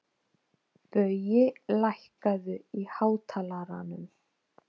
Baui, lækkaðu í hátalaranum.